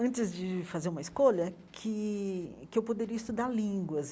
antes de fazer uma escolha, que que eu poderia estudar línguas.